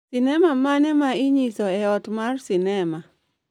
sinema mane ma inyiso e ot ma sinema